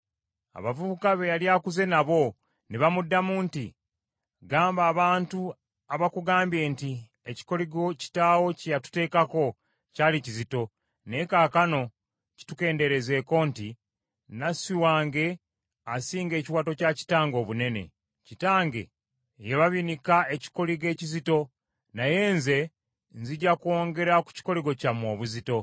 Abavubuka be yali akuze nabo ne bamuddamu nti, “Gamba abantu abakugambye nti, ‘Ekikoligo kitaawo kye yatuteekako kyali kizito, naye kaakano kitukendeerezeko,’ nti, ‘Nasswi wange asinga ekiwato kya kitange obunene. Kitange yababinika ekikoligo ekizito, naye nze nzija kwongera ku kikoligo kyammwe obuzito.